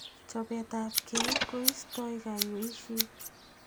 Chopet ap kei koistoi kaiweisiet.